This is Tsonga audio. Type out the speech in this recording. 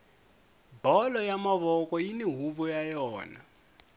bolo ya mavoko yini huvo ya yona